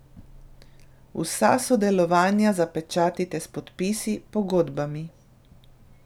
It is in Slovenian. Vsa sodelovanja zapečatite s podpisi, pogodbami.